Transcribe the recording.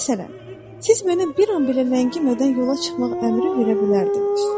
Məsələn, siz mənə bir an belə ləngimədən yola çıxmaq əmri verə bilərdiniz.